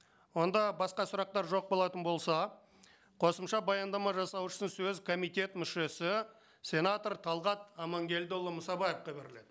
онда басқа сұрақтар жоқ болатын болса қосымша баяндама жасау үшін сөз комитет мүшесі сенатор талғат амангелдіұлы мұсабаевқа беріледі